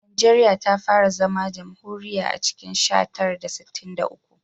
Najeriya ta fara zama jamhuriya a cikin sha tara da sittin da uku